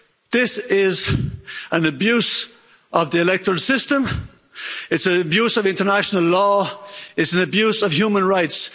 This is an abuse of the electoral system. It's an abuse of international law. It's an abuse of human rights.